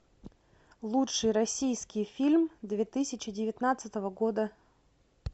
лучший российский фильм две тысячи девятнадцатого года